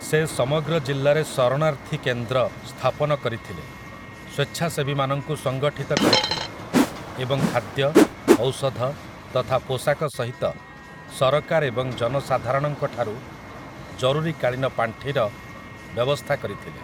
ସେ ସମଗ୍ର ଜିଲ୍ଲାରେ ଶରଣାର୍ଥୀ କେନ୍ଦ୍ର ସ୍ଥାପନ କରିଥିଲେ, ସ୍ୱେଚ୍ଛାସେବୀମାନଙ୍କୁ ସଙ୍ଗଠିତ କରିଥିଲେ ଏବଂ ଖାଦ୍ୟ, ଔଷଧ ତଥା ପୋଷାକ ସହିତ ସରକାର ଏବଂ ଜନସାଧାରଣଙ୍କ ଠାରୁ ଜରୁରୀକାଳୀନ ପାଣ୍ଠିର ବ୍ୟବସ୍ଥା କରିଥିଲେ ।